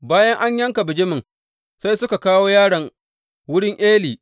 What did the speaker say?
Bayan an yanka bijimin, sai suka kawo yaron wurin Eli.